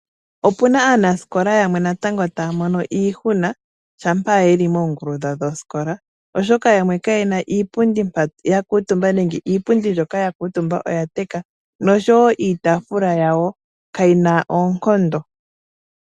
Opu na aanasikola yamwe natango taya mono iihuna shampa yeli moongulu dhawo dhosikola oshoka yamwe kaye na iipundi mpa ya kuutumba nenge iipundi mbyoka ya kuutumba oya teka noshowo iitaafula yawo kayi na oonkondo.